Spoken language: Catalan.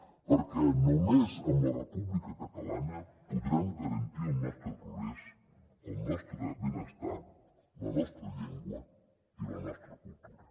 perquè només amb la república catalana podrem garantir el nostre progrés el nostre benestar la nostra llengua i la nostra cultura